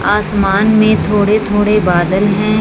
आसमान में थोड़े थोड़े बदले हैं।